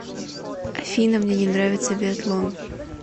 афина мне не нравится биатлон